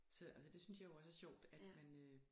Så det synes jeg jo også er sjovt at man øh